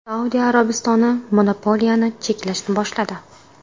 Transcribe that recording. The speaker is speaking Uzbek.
Saudiya Arabistoni monopoliyani cheklashni boshladi.